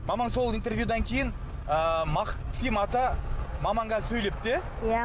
мамаң сол интервьюдан кейін ы мақсим ата мамаңа сөйлепті иә иә